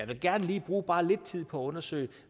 vil gerne lige bruge bare lidt tid på at undersøge